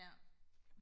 ja